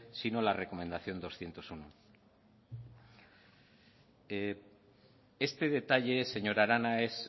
sino la recomendación doscientos uno este detalle señora arana es